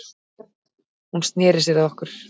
Hún sneri sér að okkur